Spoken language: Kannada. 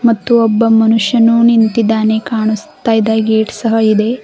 ಮತ್ತು ಒಬ್ಬ ಮನುಷ್ಯನು ನಿಂತಿದ್ದಾನೆ ಕಾಣಿಸ್ತಾದ ಗೇಟ್ ಸಹ ಇದೆ.